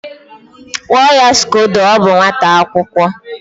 Kpụọ ya Scdodo! ọ bụ nwata akwụkọ